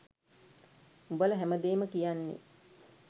උඹල හැමදේම කියන්නෙ